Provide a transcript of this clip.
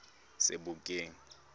sebokeng